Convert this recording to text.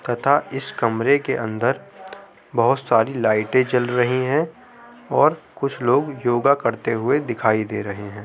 तथा इस कमरे के अंदर बहोत सारी लाइटें जल रही हैं और कुछ लोग योगा करते हुए दिखाई दे रहे हैं।